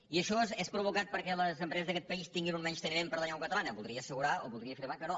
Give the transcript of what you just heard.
i això és provocat perquè les empreses d’aquest país tinguin un menysteniment per la llengua catalana voldria assegurar o voldria afirmar que no